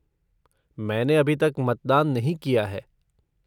मैंने अभी तक मतदान नहीं किया है।